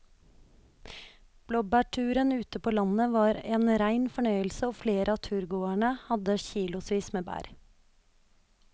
Blåbærturen ute på landet var en rein fornøyelse og flere av turgåerene hadde kilosvis med bær.